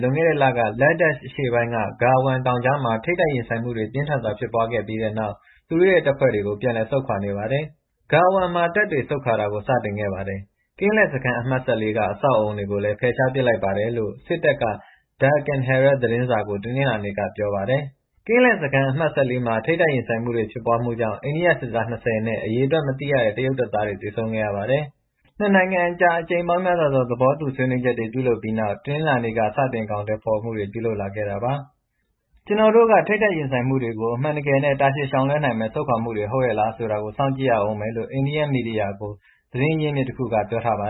လွန်ခဲ့တဲ့လက Ladakh အရှေ့ဘက်ပိုင်း Galwan တောင်ကြားမှာထိပ်တိုက်ရင်ဆိုင်မှုတွေ ပြင်းထန်စွာဖြစ်ပွားပြီးတဲ့နောက် အိန္ဒိယနဲ့ တရုတ်တို့က နယ်စပ်က သူတု့ိရဲ့တပ်ဖွဲ့တွေကို ပြန်လည် ဆုတ်ခွာနေပါတယ်။ “Galwan မှာတပ်တွေ ဆုတ်ခွာတာကို စတင်ခဲ့ပါတယ်။ ကင်းလှည့် စခန်း အမှတ်၁၄ က အဆောက်အအုံ တွေကိုလည်း ဖယ်ရှားပစ်လိုက်ပါတယ်။” လို့ စစ်တပ်က Deccan Herald သတင်းစာ ကို တနင်္လာနေ့က ပြောပါတယ်။ ကင်းလှည့်စခန်း အမှတ် မှာ ထိပ်တိုက်ရင်ဆိုင်မှုတွေ ဖြစ်ပွားမှုကြောင့် အိန္ဒိယစစ်သား ၂၀နဲ့ အရေအတွက် မသိရတဲ့ တရုတ်တပ်သားတွေ သေဆုံးခဲ့ရပါတယ်။ နှစ်နိုင်ငံအကြား အကြိမ်ပေါင်းများစွာသော သဘောတူ ဆွေးနွေးချက်တွေ ပြုလုပ် ပြီးနောက် တင်္နလာနေ့က စတင် အကောင်အထည်ဖော်မှုတွေ ပြုလုပ်လာခဲ့တာပါ။ အခုလို နှစ်ဘက် တပ်ဖွဲ့တွေ ဆုပ်ခွာခြင်းဟာ အမှန်တကယ်နဲ့ တာရှည်တည်တန့်တဲ့ ဆောင်ရွက်မှု ဟုတ် မဟုတ်ဆိုတာ စောင့်ကြည့်ရဦးမယ်လို့ အိန္ဒိယ သတင်းမီဒီယာတွေကို သတင်းအရင်းအမြစ် တစ်ခုက ပြောထားပါ